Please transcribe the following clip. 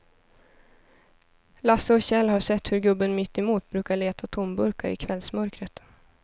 Lasse och Kjell har sett hur gubben mittemot brukar leta tomburkar i kvällsmörkret.